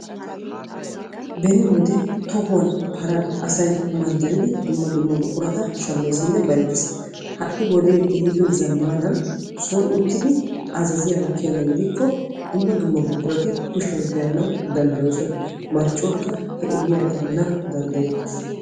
Beni wode tohuwan paray asay manddariddi shamees. Ha'i wode son uttiddi azaazzin hanees marccuwakka he ogiyara immanawu daddayetees.